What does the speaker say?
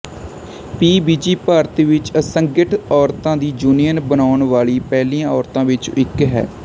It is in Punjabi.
ਪੀ ਵਿਜੀ ਭਾਰਤ ਵਿੱਚ ਅਸੰਗਠਿਤ ਔਰਤਾਂ ਦੀ ਯੂਨੀਅਨ ਬਣਾਉਣ ਵਾਲੀ ਪਹਿਲੀਆਂ ਔਰਤਾਂ ਵਿੱਚੋਂ ਇੱਕ ਹੈ